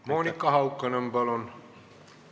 Monika Haukanõmm, palun!